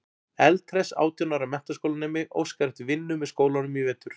Eldhress átján ára menntaskólanemi óskar eftir vinnu með skólanum í vetur.